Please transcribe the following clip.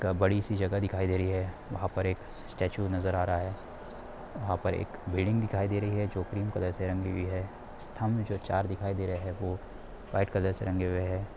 एक बड़ी सी जगह दिखाई दे रही है वहां पर एक स्टैचू नजर आ रहा है वहां पर एक बिल्डिंग दिखाई दे रही है जो क्रीम कलर से रंगी हुई है स्तंभ जो चार दिखाई दे रहे है वो व्हाइट कलर से रंगे हुए है।